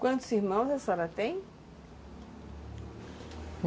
Quantos irmãos a senhora tem?